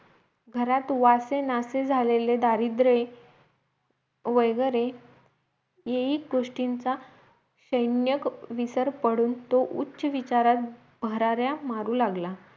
घरात वासेनासे झालेले दारिद्रे वैगेरे ह्याही गोष्टींचा शैण्यक विसर पडून तो उच्च विचारात भराऱ्या मारू लागला